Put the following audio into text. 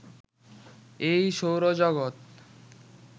এই সৌরজগত